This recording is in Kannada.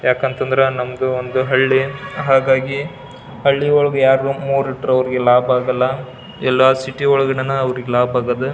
ಯಾಕಂತಂದ್ರ ನಮ್ದು ಒಂದು ಹಳ್ಳಿ ಹಾಗಾಗಿ ಯಾಡು ಮೂರ್ ಇಟ್ರೆ ಅವ್ರಿಗೆ ಲಾಭ ಆಗೋಲ್ಲ ಎಲ್ಲ ಸಿಟಿ ಒಳಗೆ ನಾನಾ ಅವ್ರಿಗ್ ಲಾಭ ಆಗದ.